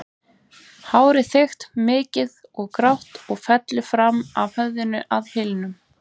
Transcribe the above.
Hárið þykkt, mikið og grátt og fellur fram af höfðinu að hylnum.